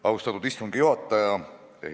Austatud istungi juhataja!